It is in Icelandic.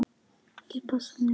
Ég passa mig, mamma.